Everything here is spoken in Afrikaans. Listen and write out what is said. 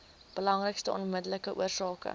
belangrikste onmiddellike oorsake